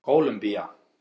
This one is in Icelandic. Kólumbía